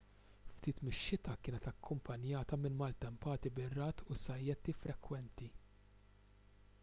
ftit mix-xita kienet akkumpanjata minn maltempati bir-ragħad u sajjetti frekwenti